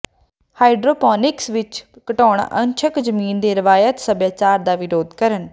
hydroponics ਵਿਚ ਘਟਾਓਣਾ ਅੰਸ਼ਕ ਜ਼ਮੀਨ ਦੇ ਰਵਾਇਤੀ ਸਭਿਆਚਾਰ ਦਾ ਵਿਰੋਧ ਕਰਨ